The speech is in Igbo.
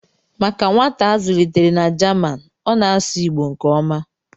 Maka nwata a zụlitere na Jamanị, ọ na-asụ Igbo nke ọma